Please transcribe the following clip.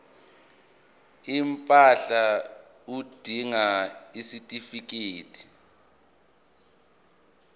impahla udinga isitifikedi